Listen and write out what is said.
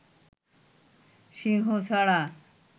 সিংহ ছাড়া